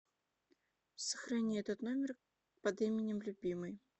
сохрани этот номер под именем любимый